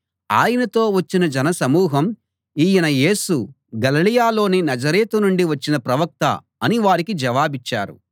ఆయనతో వచ్చిన జనసమూహం ఈయన యేసు గలిలయలోని నజరేతు నుండి వచ్చిన ప్రవక్త అని వారికి జవాబిచ్చారు